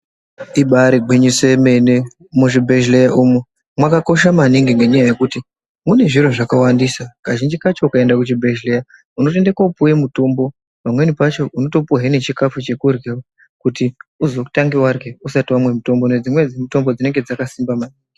Ibari gwinyiso yemene muzvibhehlera umwu ,mwakakosha maningi ngekuti mune zviro zvakawandisa maningi, kazhinji kacho ukaenda kuchibhehlera unotopuwa mutombo. Pamweni pacho unotopuwa nechikafu chekurya kuti uzotange warya usati wapuwa mutombo ngekuti dzimweni mitombo dzinenge dzakasimba maningi.